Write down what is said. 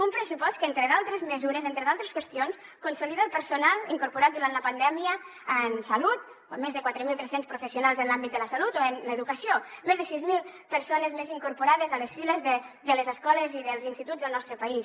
un pressupost que entre d’altres mesures entre d’altres qüestions consolida el personal incorporat durant la pandèmia en salut més de quatre mil tres cents professionals en l’àmbit de la salut o en l’educació més de sis mil persones més incorporades a les files de les escoles i dels instituts del nostre país